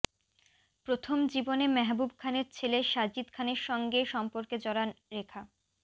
প্রথম জীবনে মেহবুব খানের ছেলে সাজিদ খানের সঙ্গে সম্পর্কে জড়ান রেখা